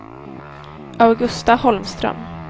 Augusta Holmström